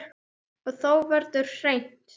Og þá verður hreint.